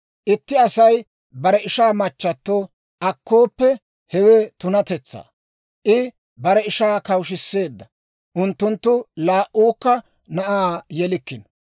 Itti Asay bare ishaa machchato akkooppe, hewe tunatetsa. I bare ishaa kawushshiseedda; unttunttu laa"uukka na'aa yelikkino.